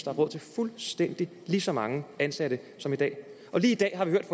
er råd til fuldstændig lige så mange ansatte som i dag og lige i dag har vi hørt